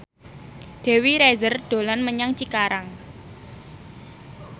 Dewi Rezer dolan menyang Cikarang